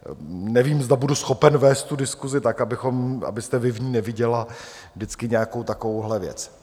Nevím, zda budu schopen vést tu diskusi tak, abyste vy v ní neviděla vždycky nějakou takovouhle věc.